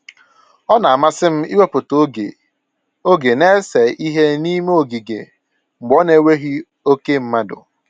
Ọ na-amasị m iwepụta oge oge na-ese ihe n'ime ogige mgbe ọ na-enweghị oke mmadụ